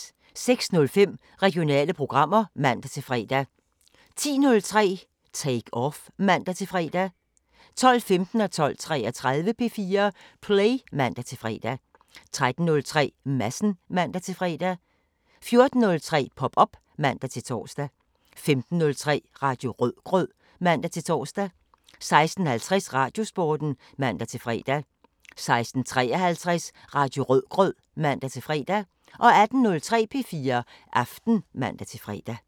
06:05: Regionale programmer (man-fre) 10:03: Take Off (man-fre) 12:15: P4 Play (man-fre) 12:33: P4 Play (man-fre) 13:03: Madsen (man-fre) 14:03: Pop op (man-tor) 15:03: Radio Rødgrød (man-tor) 16:50: Radiosporten (man-fre) 16:53: Radio Rødgrød (man-fre) 18:03: P4 Aften (man-fre)